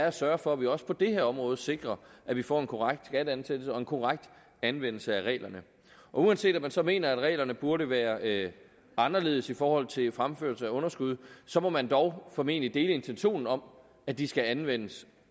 at sørge for at vi også på det her område sikrer at vi får en korrekt skatteansættelse og en korrekt anvendelse af reglerne uanset om man så mener at reglerne burde være anderledes i forhold til fremførsel af underskud så må man dog formentlig dele intentionen om at de skal anvendes